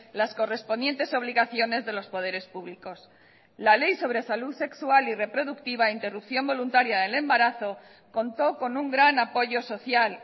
las correspondientes obligaciones de los poderes públicos la ley sobre salud sexual y reproductiva interrupción voluntaria del embarazo contó con un gran apoyo social